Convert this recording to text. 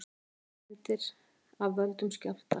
Engar skemmdir af völdum skjálfta